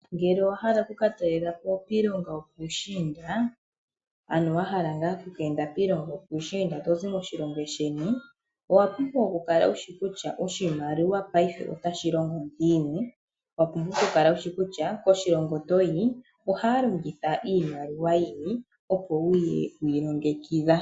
Ngele owa hala okuka talela po kiilongo yo puushinda, ano wa hala ngaa okuka enda piilongo yo puushinda tozi moshilongo sheni, owa pumbwa okukala wushi kutya oshimaliwa paife otashi longo ngiini. Wa pumbwa okukala wusi kutya koshilongo toyi ohaya longitha iimaliwa yini opo wuye wi ilongekidha.